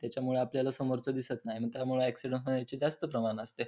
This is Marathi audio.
त्याच्यामुळे आपल्याला समोरच दिसत नाही मग त्यामुळ ऑक्सिडेंट होण्याचे जास्त प्रमान असते.